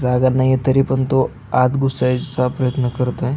जागा नाही तरी पण तो आत घुसायचा प्रयत्न करत आहे.